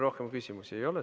Rohkem küsimusi ei ole.